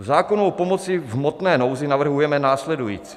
V zákonu o pomoci v hmotné nouzi navrhujeme následující.